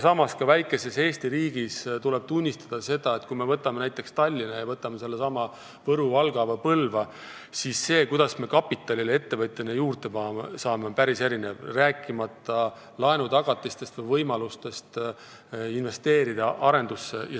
Samas tuleb ka väikeses Eesti riigis tunnistada, et kui me võtame näiteks Tallinna kõrvale sellesama Võru, Valga või Põlva, siis see on päris erinev, kuidas ettevõtja kapitali juurde saab, rääkimata laenutagatistest või võimalustest arendusse investeerida.